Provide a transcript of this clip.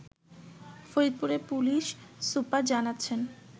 ফরিদপুরের police super জানাচ্ছেন